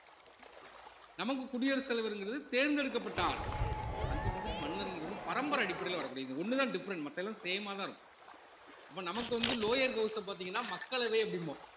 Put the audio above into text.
நமக்கு குடியரசுத் தலைவர்ங்கிறது தேர்ந்தெடுக்கப்பட்ட ஆள் அங்க வந்து மன்னன்ங்கிறது பரம்பரை அடிப்படையில வரக்கூடிய இது ஒண்ணுதான் different மற்றதெல்லாம் same ஆ தான் இருக்கும் அப்ப நமக்கு வந்து lower house அ பாத்தீங்கன்னா மக்களவை அப்படிம்போம்